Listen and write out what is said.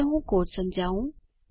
ચાલો હું કોડ સમજાવું